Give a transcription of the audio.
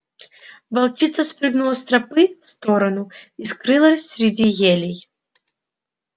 волчица спрыгнула с тропы в сторону и скрылась среди елей